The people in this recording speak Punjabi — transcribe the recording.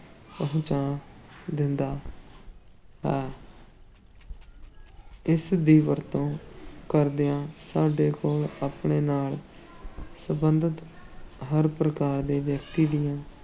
ਪਹੁੰਚਾ ਦਿੰਦਾ ਹੈ ਇਸ ਦੀ ਵਰਤੋਂ ਕਰਦਿਆਂ ਸਾਡੇ ਕੋਲ ਆਪਣੇ ਨਾਲ ਸੰਬੰਧਤ ਹਰ ਪ੍ਰਕਾਰ ਦੇ ਵਿਅਕਤੀ ਦੀਆਂ